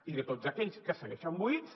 i de tots aquells que segueixen buits